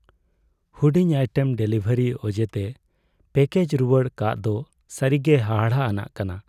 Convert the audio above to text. ᱦᱩᱲᱤᱡ item delivery ᱚᱡᱮᱛᱮ package ᱨᱩᱣᱟᱹᱲ ᱠᱟᱜ ᱫᱚ ᱥᱟᱹᱨᱤᱜᱮ ᱦᱟᱦᱟᱲᱟᱜ ᱟᱱᱟᱜ ᱠᱟᱱᱟ ᱾